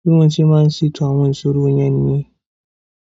Bí wọ́n ṣe máa ń ṣètò àwọn ìṣòro yẹn nìyẹn.